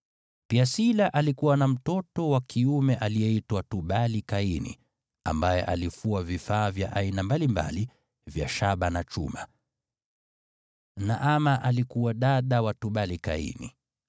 Pia Sila alikuwa na mtoto wa kiume aliyeitwa Tubali-Kaini ambaye alifua vifaa vya aina mbalimbali vya shaba na chuma. Naama alikuwa dada wa Tubali-Kaini.